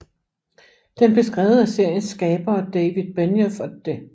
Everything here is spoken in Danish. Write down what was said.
Den blev skrevet af seriens skabere David Benioff og D